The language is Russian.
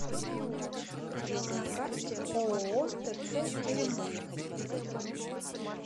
на карте ооо тц теремок